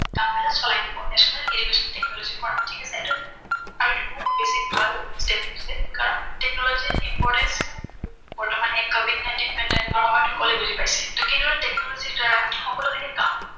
কামবিলাক চলাই নিব। National Education Technology Forum ঠিক আছে এইটো। আৰু এইটো বহুত বেছি ভাল step লৈছে, কাৰন technology ৰ importance বৰ্তমান এই কভিড নাইনটিন pandemic ৰ সময়ত সকলোৱে বুজি পাইছে। ত কি দৰে technology ৰ দ্বাৰা সকলোখিনি